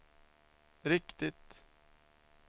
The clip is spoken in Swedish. riktigt